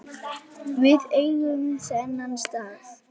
Við eigum þennan stað